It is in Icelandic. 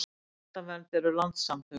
Hjartavernd eru landssamtök.